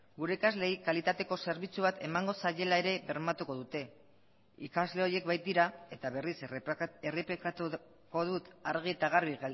gure ikasleei kalitateko zerbitzu bat emango zaiela ere bermatuko dute ikasle horiek baitira eta berriz errepikatuko dut argi eta garbi